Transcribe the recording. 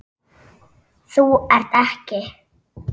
Þú ert ekki.